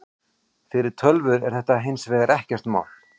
Fyrir tölvur er þetta hins vegar ekkert mál.